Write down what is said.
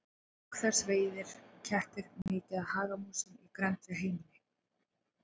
Auk þess veiða kettir mikið af hagamúsum í grennd við heimili.